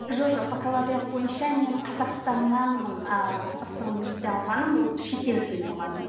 жоқ бакалавриат бойынша мен қазақстаннанмын ааа қазақстан униаерситеттен алғаным ол шетел тілі мұғалімі